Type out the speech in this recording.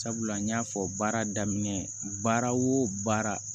Sabula n y'a fɔ baara daminɛ baara o baara